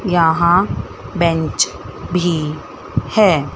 यहां बेंच भी हैं।